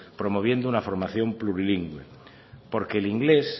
promoviendo una formación plurilingüe porque el inglés